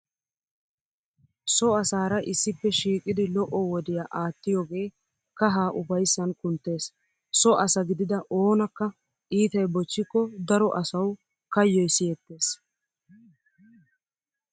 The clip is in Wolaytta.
So asaara issippe shiiqidi lo'o wodiyaa aattiyogee kahaa ufayssan kunttees. So asa gidida oonakka iitay bochchikko daro asawu kayoy siyettees.